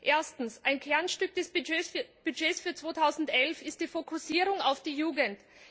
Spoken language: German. Erstens Ein Kernstück des Budgets für 2011 ist die Fokussierung auf die Jugend.